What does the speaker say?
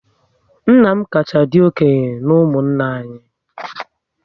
Nna m kacha dị okenye na ụmụnna anyị